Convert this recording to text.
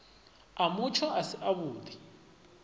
a mutsho a si avhudi